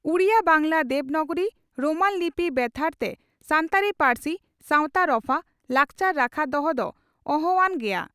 Odia, Bangla, Devanagari, Roman ᱞᱤᱯᱤ ᱵᱮᱵᱷᱟᱨᱛᱮ ᱥᱟᱱᱛᱟᱲᱤ ᱯᱟᱹᱨᱥᱤ, ᱥᱟᱣᱛᱟ ᱨᱚᱯᱷᱟ, ᱞᱟᱠᱪᱟᱨ ᱨᱟᱠᱷᱟ ᱫᱚᱦᱚ ᱫᱚ ᱚᱦᱚᱼᱟᱱ ᱜᱮᱭᱟ ᱾